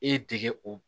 E ye dege o